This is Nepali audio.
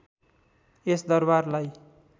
यस दरबारलाई